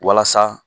Walasa